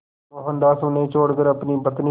मोहनदास उन्हें छोड़कर अपनी पत्नी